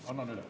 Annan üle.